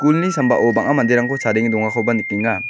sambao bang·a manderangko chadenge dongakoba nikenga.